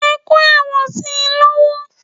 Ẹ kó ẹ̀wọ̀n si lọ́wọ́!